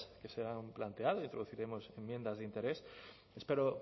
que se han planteado introduciremos enmiendas de interés espero